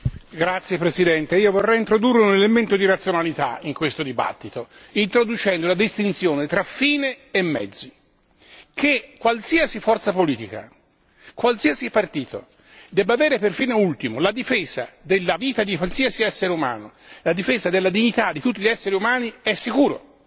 Signor Presidente, onorevoli colleghi, io vorrei introdurre un elemento di razionalità in questo dibattito, introducendo la distinzione tra fine e mezzi. Che qualsiasi forza politica, qualsiasi partito, debba avere per fine ultimo la difesa della vita di qualsiasi essere umano, la difesa della dignità di tutti gli esseri umani, è sicuro.